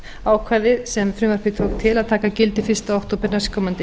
ákvæði sem frumvarpið tók til að taka gildi fyrsta október næstkomandi